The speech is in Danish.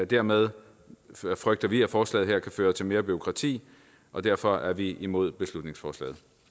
dermed frygter vi at forslaget her kan føre til mere bureaukrati og derfor er vi imod beslutningsforslaget